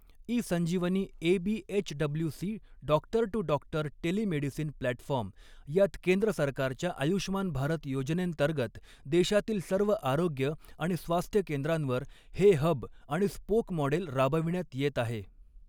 E Sanjeevani AB HWC doctor to doctor telemedicine platform यात केंद्र सरकारच्या आयुष्मान भारत योजनेंतर्गत देशातील सर्व आरोग्य आणि स्वास्थ्यकेंद्रांवर, हे हब आणि स्पोक मॉडेल राबविण्यात येत आहे.